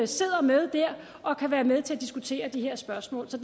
sidder med der og kan være med til at diskutere de her spørgsmål så